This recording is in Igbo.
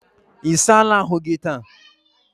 Ị sala ahụ gị taa?